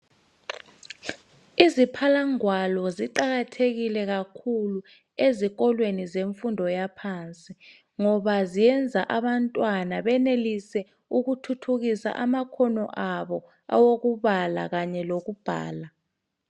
iziphalangwalo ziqhakathekile kakhulu ezikoleweni ezimfundweni zaphansi ngoba ziyenza abantwana benelese ukuthuthukisa amakhono awo wokubala lokubhala